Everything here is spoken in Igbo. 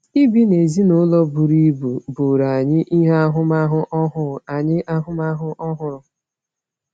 Ibi n’ezinụlọ buru ibu bụụrụ anyị ahụmahụ ọhụrụ. anyị ahụmahụ ọhụrụ.